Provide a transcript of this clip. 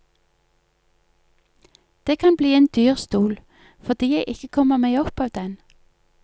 Det kan bli en dyr stol, fordi jeg ikke kommer meg opp av den.